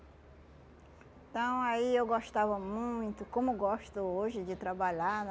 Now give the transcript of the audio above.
Então aí eu gostava muito, como gosto hoje de trabalhar, né?